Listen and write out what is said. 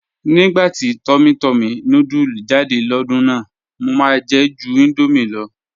"̀Nígbà tí túmmỳ túmmỳ núdùlù jáde lódùn náà, mọ̀ máá jẹ̀ jù Indomie ló.